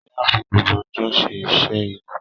Sarah fi gbogbo ọjọ́ ṣe iṣẹ́ ilé.